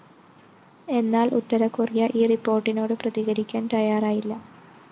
എന്നാൽ ഉത്തര കൊറിയ ഈ റിപ്പോർട്ടിനോട് പ്രതികരിക്കാൻ തയ്യാറായില്ല